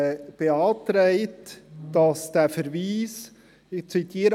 Dieser will, dass der Verweis – ich zitiere: